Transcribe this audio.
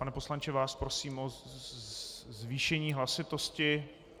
Pane poslanče, vás prosím o zvýšení hlasitosti.